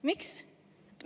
Miks?